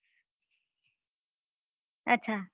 અચ્છા